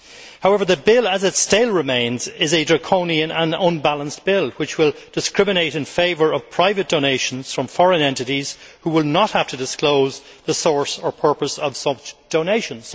However, the bill as it remains is a draconian and unbalanced bill which will discriminate in favour of private donations from foreign entities, which will not have to disclose the source or purpose of such donations.